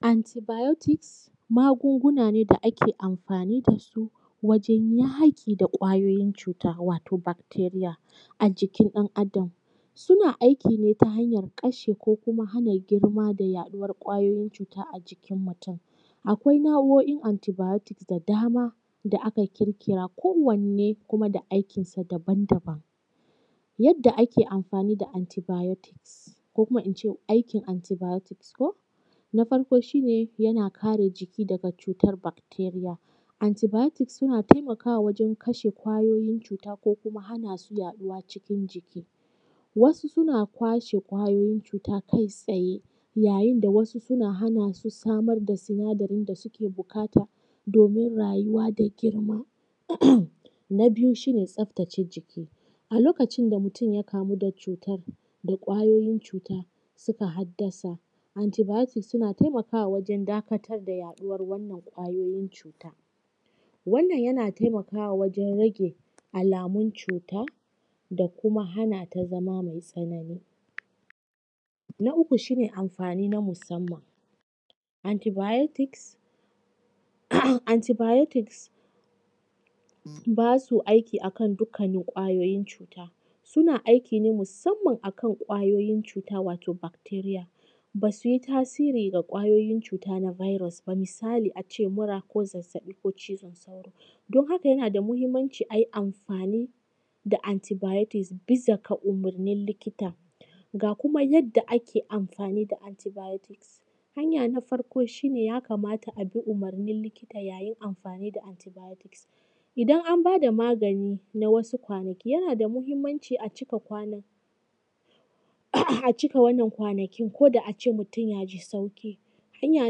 Antibiotics magunguna ne da ake amfani da su wajen yaƙi da ƙwayoyin cuta wato bacteria a jikin ɗan adam. Suna aikine ta hanyan kashe ko kuma haɗa girma da yaɗuwar ƙwayoyin cuta a jikin mutum. Akwai nau’oin antibiotics da dama da aka ƙirƙira. Kowanne kuma da aikinsa daban daban. Yadda ake amfani da antibiotics ko kuma in ce aikin antibiotics ko. Na farko shi ne yana kare jiki daga cutan bacteria. Antibiotics suna taimakawa wajan kashe ƙwayoyin cuta ko kuma hana su yaɗuwa cikin jiki. Wasu suna kashe ƙwayoyin cuta kai tsaye, yayin da wasu suna hana su samar da sinadarin da suke buƙata domin rayuwa da girma. Na biyu shi ne tsafatace jiki a lokacin da mutum ya kamu da ƙwayoyin cuta suka haddasa antibiotics suna taimakawa wajan dakatar da yaɗuwar wannan ƙwayoyin cuta. Wannan yana taimakawa wajan rage alamun cuta da kuma hana ta zama mai tsanani. Na uku shi ne amfani na musamman. Antibiotics ba su aiki a kan dukkannin ƙwayoyin cuta, suna aiki ne musamman a kan ƙwayoyin cuta, wato bacteria ba su yi tasiri ga ƙwayoyin cuta na virus ba. Misali a ce mura ko zazzaɓi ko cizon sauro. Don haka yana da muhimmanci ayi amfani da antibiotics bisa ga umurnin likita. Ga kuma yanda ake amfani da antibiotics. Hanya na farko shi ne ya kamata a bi umarnin likita yayin amfani da antibiotics. Idan an ba da magani na wasu kwanaki yana da muhimmanci a cika wannan kwanakin koda a ce mutum ya ji sauƙi. Hanya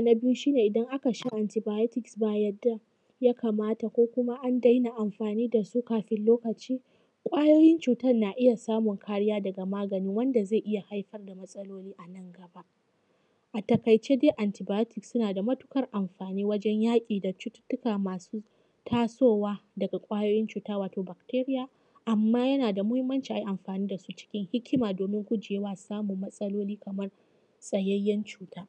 na biyu shi ne idan aka sha antibiotics ba yadda duk ya kamata ko kuma an daina amfani da su kafin lokacin ƙwayoyin cutan na iya samun kariya daga magani wanda zai iya haifar da matsaloli a nan gaba. A taƙaice dai antibiotics suna da matuƙar amfani wajan yaƙi da cututtuka masu tasowa daga ƙwayoyin cuta, wato bacteria. Amman yana da muhimmanci a yi amfani da su cikin hikima domin gujewa samun matsaloli kaman tsayayyan cuta.